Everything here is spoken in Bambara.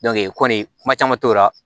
kɔni kuma caman t'o la